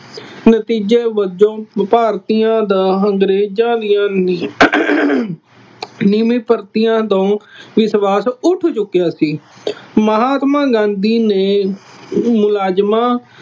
ਨਤੀਜੇ ਵਜੋਂ ਭਾਰਤੀਆਂ ਦਾ ਅੰਗਰੇਜ਼ਾਂ ਦੀਆਂ ਨਵੀਂ ਭਰਤੀਆਂ ਤੋਂ ਵਿਸ਼ਵਾਸ਼ ਉੱਠ ਚੁੱਕਿਆ ਸੀ। ਮਹਾਤਮਾ ਗਾਂਧੀ ਨੇ ਮੁਲਾਜ਼ਮਾਂ